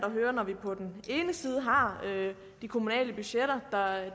at høre når vi har de kommunale budgetter